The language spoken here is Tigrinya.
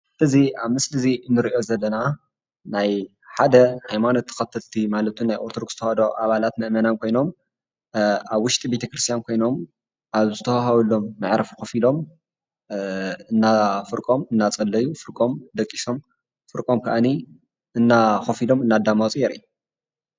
እዚ ኣብ ምስሊ እዚ ንርኦ ዘለና ናይ ሓደ ሃይማኖት ተከተልቲ ማለትም ዉን ናይ ኣርቶዶክስ ተዋህዶ ኣባላት ሃይማኖይ መእመናን ኮይኖም ኣብ ውሽጢ ቤቴ ክርስትያን ኮይኖም ኣብ ዝተወሃበሎም ምዕረፍ ከፍ ኢሎም ፍርቆም እደፀለዩ ፍርቆም ደቅሶም ፍርቆም ከዓኒ ከፍ ኢሎም እዳዳመፁ የርኢ።